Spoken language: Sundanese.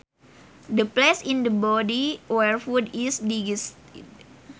The place in the body where food is digested